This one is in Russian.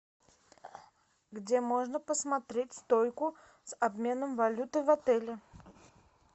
где можно посмотреть стойку с обменом валюты в отеле